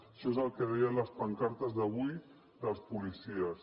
això és el que deien les pancartes d’avui dels policies